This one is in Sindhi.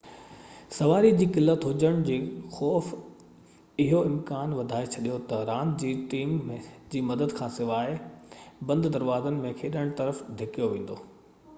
سواري جي قلت هجڻ جي خوف اهو امڪان وڌائي ڇڏيو ته راند کي ٽيم جي مدد کانسواءِ بند دروازن ۾ کيڏڻ طرف ڌِڪيو ويندو